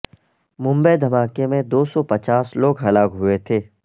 ممبئی دھماکے میں دو سو پچاس لوگ ہلاک ہوئے تھے